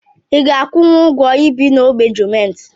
Iga akwụnwụ ụgwọ ibi n'ogbe gọọmenti?